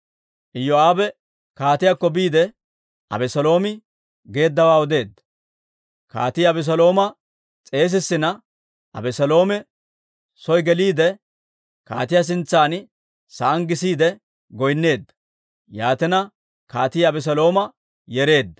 Iyoo'aabe kaatiyaakko biide, Abeseeloomi geeddawaa odeedda. Kaatii Abeselooma s'eesissina Abeseeloomi soo geliide, kaatiyaa sintsan sa'aan gisiide goynneedda; yaatina, kaatii Abeselooma yereedda.